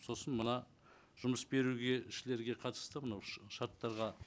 сосын мына жұмыс беруге қатысты мынау шарттарға